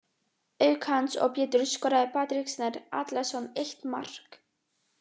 Auk hans og Péturs skoraði Patrik Snær Atlason eitt mark.